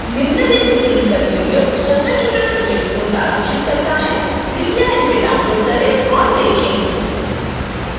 निम्नलिखित link पर video spoken tutorial project को सारांशित करता है